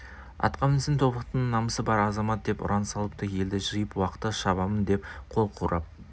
атқа мінсін тобықтының намысы бар азаматы деп ұран салыпты елді жиып уақты шабамын деп қол құрап